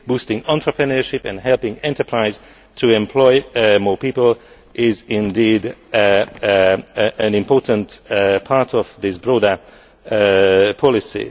Boosting entrepreneurship and helping enterprises to employ more people is indeed an important part of this broader policy.